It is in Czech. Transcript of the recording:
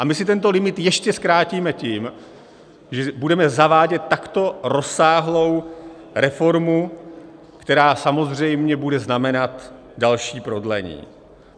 A my si tento limit ještě zkrátíme tím, že budeme zavádět takto rozsáhlou reformu, která samozřejmě bude znamenat další prodlení.